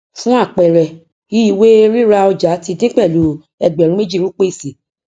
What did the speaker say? fún àpẹẹrẹ iìwé ríra ọjà ti dín pẹlú ẹgbẹrún méjì rúpíìsì